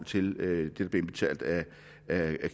til hvad der bliver indbetalt af